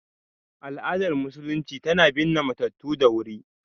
Al’adar Musulunci tana binne matattu da wuri.